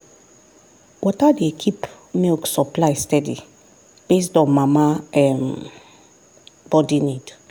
water dey keep milk supply steady based on mama um body need.